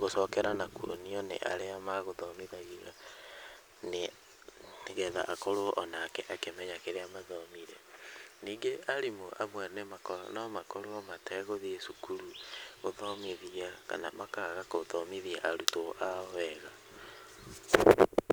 gũcokera nakwonio nĩ arĩa megũthomithagio nĩgetha akorwo onake akĩmenya kĩrĩa mathomire, ningĩ arimũ amwe no makorwo mategũthiĩ cukuru gũthomithia ,kana makaaga gũthomithia arutwo ao wega .